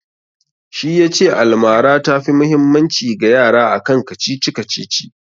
Shi ya ce almara ta fi mahimmanci ga yara akan kacici-kacici